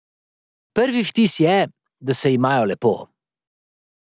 Prvi vtis je, da se imajo lepo.